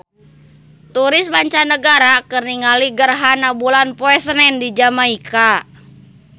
Turis mancanagara keur ningali gerhana bulan poe Senen di Jamaika